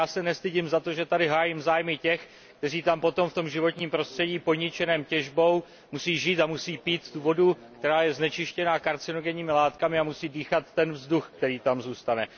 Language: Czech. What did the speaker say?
No tak já se nestydím za to, že tady hájím zájmy těch, kteří tam potom v tom životním prostředí poničeném těžbou musí žít a musí pít vodu, která je znečištěná karcinogenními látkami, a musí dýchat vzduch, který tam zůstane.